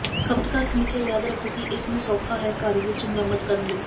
ਖਪਤਕਾਰ ਸਮੀਖਿਆ ਯਾਦ ਰੱਖੋ ਕਿ ਇਸ ਨੂੰ ਸੌਖਾ ਹੈ ਘਰ ਵਿਚ ਮੁਰੰਮਤ ਕਰਨ ਦੀ